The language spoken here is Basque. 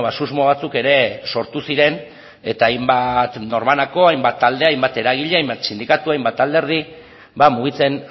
susmo batzuk ere sortu ziren eta hainbat norbanako hainbat talde hainbat eragile hainbat sindikatu hainbat alderdi mugitzen